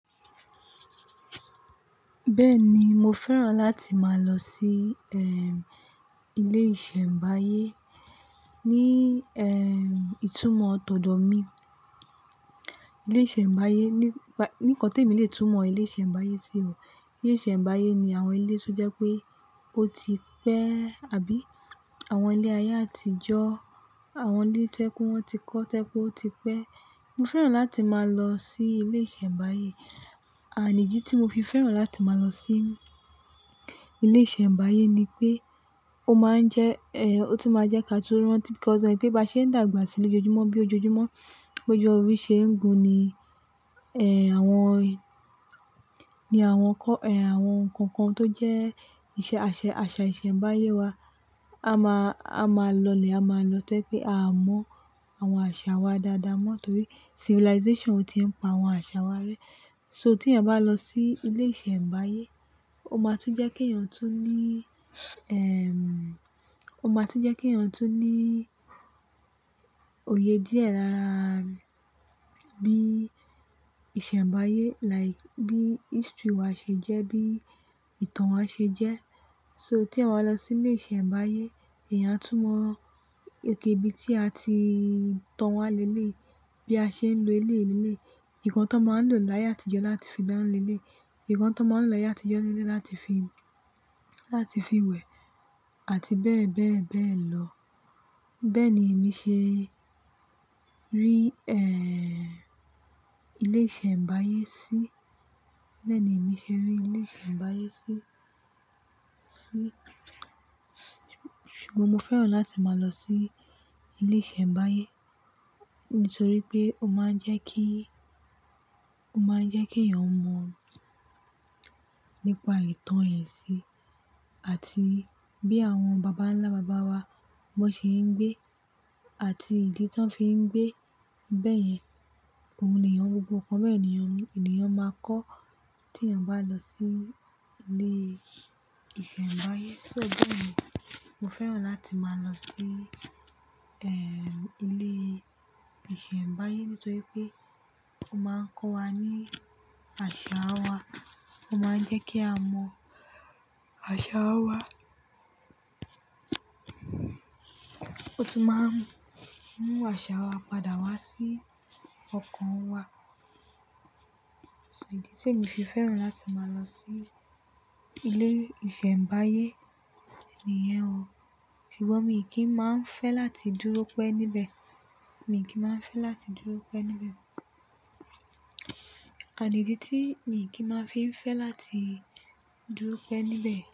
Bẹ́ẹ̀ni, mo fẹ́ràn láti máa lọ sí, ehm, ilé ìṣẹ̀mbáyé ní, ehm, ìtumọ̀ tọ̀dó mi. Ilé ìṣẹ̀mbáyé nípa, ní kọ̀ tẹ̀mi lè tún mọ ilé ìṣẹ̀mbáyé sí ò. Ilé ìṣẹ̀mbáyé ni àwọn ilé tó jẹ́ pé ó ti pẹ́ àbí àwọn ilé ayé àtijọ́, àwọn ilé tó jẹ pé wọ́n ti kọ́, tẹ́ jé pé ó ti pẹ́. Mo fẹ́ràn láti máa lọ sí ilé ìṣẹ̀mbáyé, ànídí tí mo fi fẹ́ràn láti máa lọ sí ilé ìṣẹ̀mbáyé ni pé ó máa ń jẹ́, eh, ó tún máa jẹ́ kí a tó rántí pé bí a ṣe ń dàgbà sílè ojoojúmọ́ bí ojoojúmọ́, bó jọ òru ṣe ń gun ni, eh, àwọn, ni àwọn kọ-- eh, àwọn kankan tó jẹ́ ìṣe, àṣẹ, àṣà ìṣẹ̀mbáyé wa, a máa, a máa lọlẹ̀, a máa lọ tori pé aa mọ àwọn àṣà wa dáadáa mọ́ nítorí civilization ò tíì ń pa àwọn àṣà wa rẹ́. So tí èèyàn bá lọ sí ilé ìṣẹ̀mbáyé, ó máa tún jẹ́ kí èèyàn tún ní, ehm, ó máa tún jẹ́ kí èèyàn tún ní òye díẹ̀ láraa bí ìṣẹ̀mbáyé like bí history wa ṣe jẹ́, bií ìtàn wa ṣe jẹ́. So tí eyan ba lọ sí ilé ìṣẹ̀mbáyé, èèyàn a tún mọ òkay ibí tí a ti tàn wá léleyii, bí a ṣe ń lo eleyii leléyii, nkan tó máa ń lò láyé àtijọ́ láti fi dána léléyii, nkan tó máa ń lò láyé àtijọ́ léleyii láti fi, láti fi wẹ̀ àti bẹ́ẹ̀ bẹ́ẹ̀ bẹ́ẹ̀ lọ. Bẹ́ẹ̀ ni èmi ṣe rí, eh, ilé ìṣẹ̀mbáyé sí. Bẹ́ẹ̀ ni èmi ṣe rí ilé ìṣẹ̀mbáyé sí, sí. Ṣùgbọ́n mo fẹ́ràn láti máa lọ sí ilé ìṣẹ̀mbáyé nítorí pé ó máa ń jẹ́ kí, ó máa ń jẹ́ kí èèyàn mọ̀ nípa ìtàn ẹ̀ si àti bí àwọn bàbá ńlá bàbá wa bo ṣe ń gbé àti ìdí tí wọ́n fi ń gbé. Bẹ́ẹ̀ yẹn, ohun lèyàn gbogbo nkan bẹ́ẹ̀ lèyàn, lèyàn máa kọ́ tí èèyàn bá lọ sí ilé ìṣẹ̀mbáyé. So bẹ́ẹ̀ ni, mo fẹ́ràn láti máa lọ sí, eh, ilée ìṣẹ̀mbáyé nítorí pé ó máa ń kọ́ wa ní àṣà wa, ó máa ń jẹ́ kí a mọ àṣà wa. Ó tún máa ń mú àṣà wa padà wá sí ọkàn wa. So ìdí tèmi fi fẹ́ràn láti máa lọ sí ilé ìṣẹ̀mbáyé niyẹn o. Ṣùgbọ́n mi kìi máa ń fẹ́ láti dúró pẹ́ níbẹ̀. Mii kí máa ń fẹ́ láti dúró pẹ́ níbẹ̀. Ànídí tí mi kì í máa fi ń fẹ́ láti dúró pẹ́ níbẹ̀